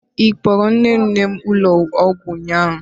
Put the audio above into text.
Ị kpọgara nne nne m ụlọ ọgwụ ụnyaahụ?